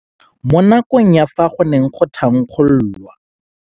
Mo nakong ya fa go ne go thankgololwa